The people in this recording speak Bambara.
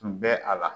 Tun bɛ a la